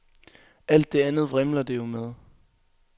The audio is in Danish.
Alt det andet vrimler det jo med.